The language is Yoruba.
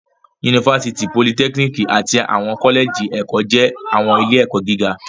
Yunifásítì, politẹ́kíníkì àti àwọn kọ́lẹ́jì ẹ̀kọ́ jẹ́ àwọn ilé-ẹ̀kọ́ gíga.